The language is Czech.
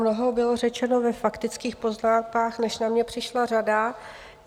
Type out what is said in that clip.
Mnoho bylo řečeno ve faktických poznámkách, než na mě přišla řada.